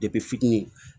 fitini